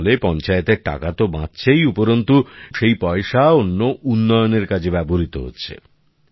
এর ফলে পঞ্চায়েতের টাকা তো বাঁচছেই উপরন্তু সেই পয়সা অন্য উন্নয়নের কাজে ব্যবহৃত হচ্ছে